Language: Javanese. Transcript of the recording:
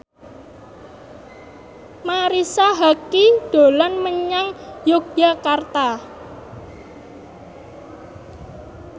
Marisa Haque dolan menyang Yogyakarta